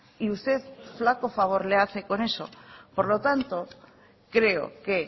y usted flaco favor le hace con eso por lo tanto creo que